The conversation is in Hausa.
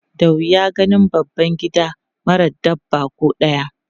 Da wuya ganin babban gida mara dabba ko ɗaya.